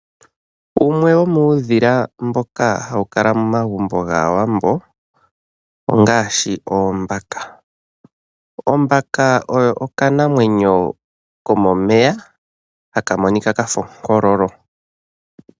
Wumwe womuudhila mboka hawu kala momagumbo gAawambo ongaashi oombaka. Ombaka oyo okanamwenyo komomeya haka monika ka fa onkololo.